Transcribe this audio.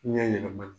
Ɲɛ yɛlɛmana